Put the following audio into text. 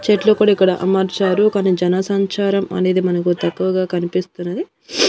చెట్లు కూడా ఇక్కడ అమర్చారు కొన్ని జనసంచారం అనేది మనకు తక్కువగా కనిపిస్తున్నది.